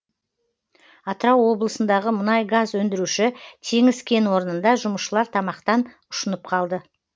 атырау облысындағы мұнай газ өндіруші теңіз кен орнында жұмысшылар тамақтан ұшынып қалды